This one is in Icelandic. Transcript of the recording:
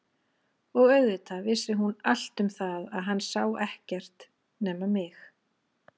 Og auðvitað vissi hún allt um það að hann sá ekkert nema mig.